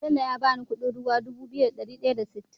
Bello ya bani Ƙudin ruwa Dubu biyu da dari daya da sittin